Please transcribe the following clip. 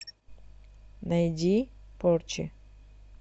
найди порчи